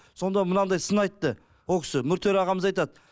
сонда мынандай сын айтты о кісі нүртөре ағамыз айтады